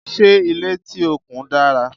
ṣé ilé tí o kùn dára?